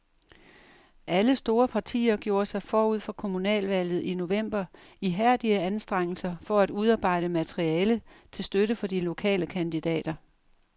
Alle store partier gjorde sig forud for kommunalvalget i november ihærdige anstrengelser for at udarbejde materiale til støtte for de lokale kandidater.